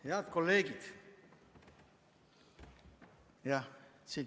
Head kolleegid!